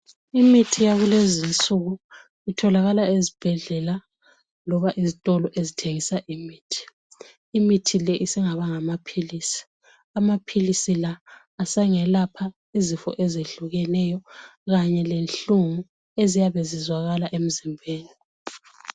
Imithi yakulezinsuku itholakala ezibhedlela loba ezitolo ezithengisa imithi, imithi le isingaba ngamaphilisi, amaphilisi la asengelapha izifo ezehlukeneyo kanye lenhlungu eziyabe zizwakala emzimbeni.